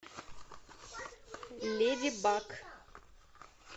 леди баг